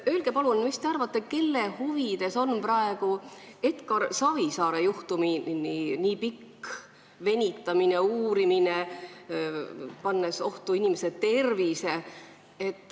Öelge palun, mis te arvate, kelle huvides on praegu Edgar Savisaare juhtumi nii pikk venitamine ja uurimine, mis paneb ohtu inimese tervise.